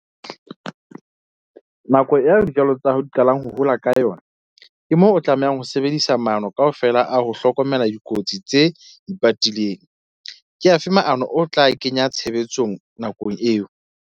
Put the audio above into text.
Nako ya dijalo tsa hao di qalang ho hola ka yona, ke moo o tlamehang ho sebedisa maano kaofela a ho hlokomela dikotsi tse ipatileng. Ke afe maano o tla kenya tshebetsong nakong eo?